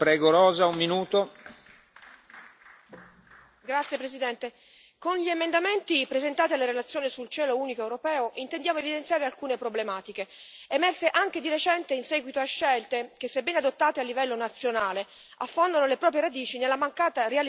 Signor Presidente, onorevoli colleghi, con gli emendamenti presentati alla relazione sul cielo unico europeo intendiamo evidenziare alcune problematiche, emerse anche di recente in seguito a scelte che, sebbene adottate a livello nazionale, affondano le proprie radici nella mancata realizzazione di un reale spazio aereo europeo.